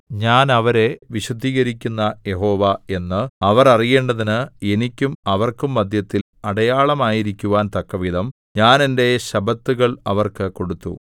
ഞാൻ അവരെ വിശുദ്ധീകരിക്കുന്ന യഹോവ എന്ന് അവർ അറിയേണ്ടതിന് എനിക്കും അവർക്കും മദ്ധ്യത്തിൽ അടയാളമായിരിക്കുവാൻ തക്കവിധം ഞാൻ എന്റെ ശബ്ബത്തുകൾ അവർക്ക് കൊടുത്തു